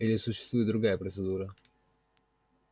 или существует другая процедура